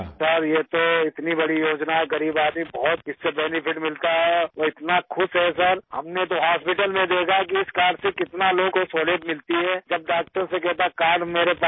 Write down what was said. Rajesh Prajapati sir یہ تو اتنی بڑی اسکیم ہے، غریب آدمی کو اس سےبہت فائدہ ملتا ہے اور اتنا خوش ہیں سر، ہم نے اسپتال میں دیکھا ہے کہ اس کارڈ سے کتنے لوگوں کو سہولت ملتی ہے جب ڈاکٹر سے کہتا ہے کارڈ میرے پاس ہے سر